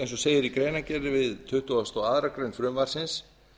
eins og segir í greinargerð við tuttugustu og aðra grein frumvarpsins